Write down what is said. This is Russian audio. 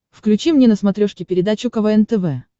включи мне на смотрешке передачу квн тв